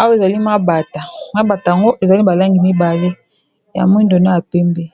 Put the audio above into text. Awa ezali mabata. Mabata yango, ezali balangi mibale ya mwindo, na ya pembe.